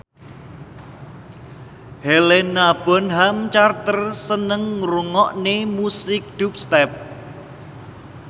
Helena Bonham Carter seneng ngrungokne musik dubstep